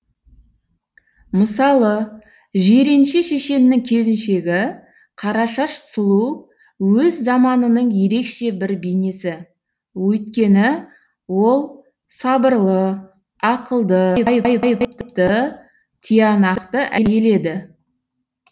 мысалы жиренше шешеннің келіншегі қарашаш сұлу өз заманының ерекше бір бейнесі өйткені ол сабырлы ақылды ты тиянақты әйел еді